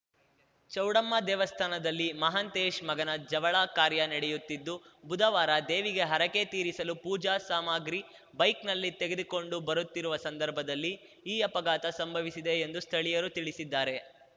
ಚೌಡಮ್ಮ ದೇವಸ್ಥಾನದಲ್ಲಿ ಮಹಾಂತೇಶ್‌ ಮಗನ ಜವಳ ಕಾರ್ಯ ನಡೆಯುತ್ತಿದ್ದು ಬುಧವಾರ ದೇವಿಗೆ ಹರಕೆ ತೀರಿಸಲು ಪೂಜಾ ಸಾಮಾಗ್ರಿ ಬೈಕ್‌ನಲ್ಲಿ ತೆಗೆದುಕೊಂಡು ಬರುತ್ತಿರುವ ಸಂದರ್ಭದಲ್ಲಿ ಈ ಅಪಘಾತ ಸಂಭವಿಸಿದೆ ಎಂದು ಸ್ಥಳಿಯರು ತಿಳಿಸಿದ್ದಾರೆ